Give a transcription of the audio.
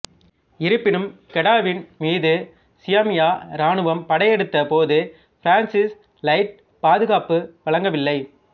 இருப்பினும் கெடாவின் மீது சியாமிய இராணுவம் படையெடுத்த போது பிரான்சிஸ் லைட் பாதுகாப்பு வழங்கவில்லை